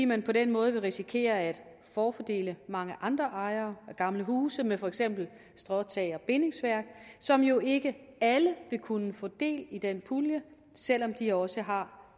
man på den måde vil risikere at forfordele mange andre ejere af gamle huse med for eksempel stråtag og bindingsværk som jo ikke alle vil kunne få del i den pulje selv om de også har